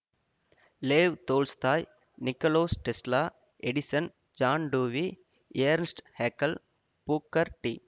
லேவ் Tolstoy Nikolas Tesla Edison John Dewey Ernst Haeckel Booker D